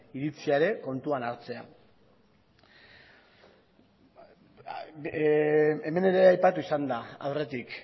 iritzia ere kontuan hartzea hemen ere aipatu izan da aurretik